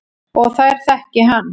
Og þær þekki hann.